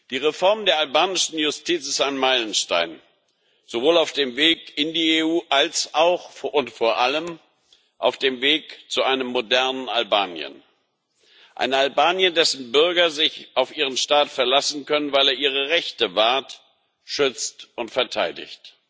Die Reform der albanischen Justiz ist ein Meilenstein, sowohl auf dem Weg in die EU als auch und vor allem auf dem Weg zu einem modernen Albanien ein Albanien, dessen Bürger sich auf ihren Staat verlassen können, weil er ihre Rechte wahrt, schützt und verteidigt.